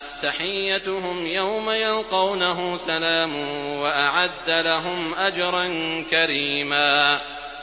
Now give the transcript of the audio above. تَحِيَّتُهُمْ يَوْمَ يَلْقَوْنَهُ سَلَامٌ ۚ وَأَعَدَّ لَهُمْ أَجْرًا كَرِيمًا